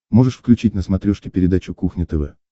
можешь включить на смотрешке передачу кухня тв